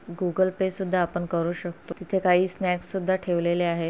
Google Pay सुद्धा आपण करू शकतो. तिथे काही स्नॅक्स सुद्धा ठेवलेले आहे.